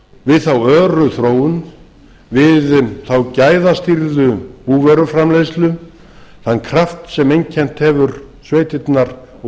við þá öru þróun við þá gæðastýrðu búvöruframleiðslu þann kraft sem einkennt hefur sveitirnar og